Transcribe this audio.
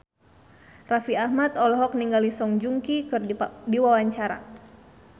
Raffi Ahmad olohok ningali Song Joong Ki keur diwawancara